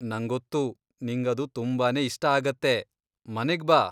ನಂಗೊತ್ತು, ನಿಂಗದು ತುಂಬಾನೇ ಇಷ್ಟ ಆಗತ್ತೆ, ಮನೆಗ್ ಬಾ!